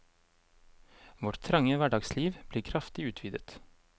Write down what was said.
Vårt trange hverdagsliv blir kraftig utvidet.